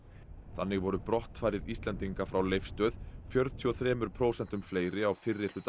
þannig voru brottfarir Íslendinga frá Leifsstöð fjörutíu og þrjú prósent fleiri á fyrri hluta